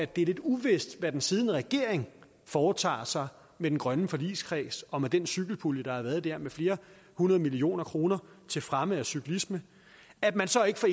det er lidt uvist hvad den siddende regering foretager sig med den grønne forligskreds og med den cykelpulje der har været der med flere hundrede millioner kroner til fremme af cyklisme at man så ikke fra